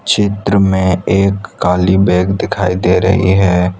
चित्र में एक काली बैग दिखाई दे रही है।